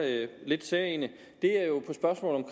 lidt særegne